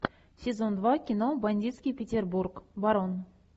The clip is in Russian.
сезон два кино бандитский петербург барон